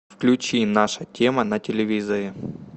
включи наша тема на телевизоре